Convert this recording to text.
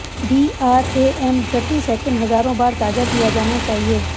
DRAM प्रति second हजारों बार ताज़ा किया जाना चाहिए